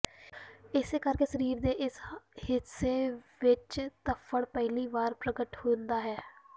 ਇਸੇ ਕਰਕੇ ਸਰੀਰ ਦੇ ਇਸ ਹਿੱਸੇ ਵਿੱਚ ਧੱਫੜ ਪਹਿਲੀ ਵਾਰ ਪ੍ਰਗਟ ਹੁੰਦਾ ਹੈ